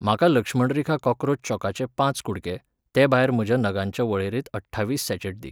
म्हाका लक्ष्मण रेखा कॉक्रोच चॉकाचे पांच कुडके, तेभायर म्हज्या नगांच्या वळेरेंत अठ्ठावीस सॅचॅट दी.